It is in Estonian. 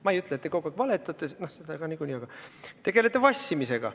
Ma ei ütle, et te kogu aeg valetate – no seda ka niikuinii –, aga te tegelete vassimisega.